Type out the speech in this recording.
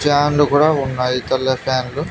ఫ్యాన్లు కూడా ఉన్నాయి తెల్ల ఫ్యాన్లు .